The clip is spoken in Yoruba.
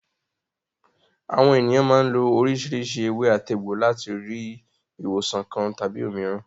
Àwọn ènìyàn máa ń lo oríṣiríṣi ewé-àtegbò láti rí ìwòsàn kan tàbí òmíràn.